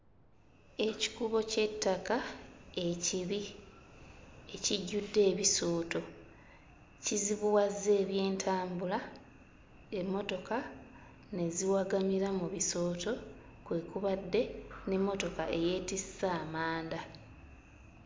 Ekikubo ky'ettaka ekibi ekijjudde ebisooto kizibuwazza eby'entambula, emmotoka ne ziwagamira mu bisooto; kwe kubadde n'emmotoka eyeetisse amanda.